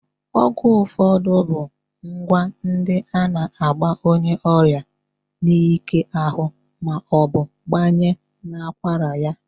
Ọgwụ ụfọdụ bụ kwa ndi a na-agba onyeọrịa n'ike ahụ ma ọ bụ gbanye n'akwara ya.